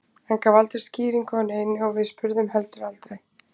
Hann gaf aldrei skýringu á neinu og við spurðum heldur aldrei.